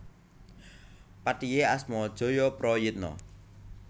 Patihé asma Jayaprayitna